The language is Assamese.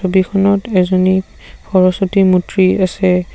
ছবিখনত এজনী সৰস্বতী মূৰ্ত্তি আছে।